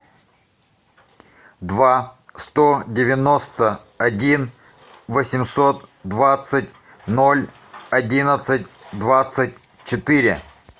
два сто девяносто один восемьсот двадцать ноль одиннадцать двадцать четыре